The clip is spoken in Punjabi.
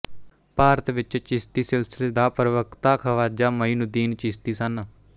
ਭਾਰਤ ਵਿੱਚ ਚਿਸ਼ਤੀ ਸਿਲਸਿਲੇ ਦਾ ਪ੍ਰਵਕਤਾ ਖ਼ਵਾਜਾ ਮਈਨੁਦੀਨ ਚਿਸ਼ਤੀ ਸਨ